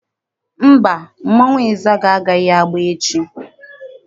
Mba, mmọnwụ ịzaga agaghị agba echi.